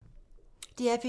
DR P2